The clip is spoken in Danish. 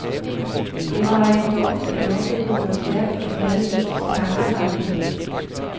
Det var ejendommeligt at opleve, hvor stærkt et had ens tanker kan vække.